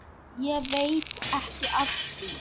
Og veit ekki af því.